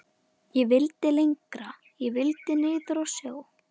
Ég vildi lengra. ég vildi niður að sjó.